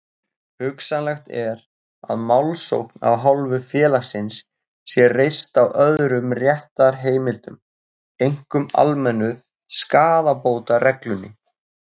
Hugsanlegt er að málsókn af hálfu félagsins sé reist á öðrum réttarheimildum, einkum almennu skaðabótareglunni.